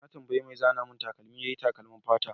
Na tambaye mai zana min takalmi yayi takalmin fata.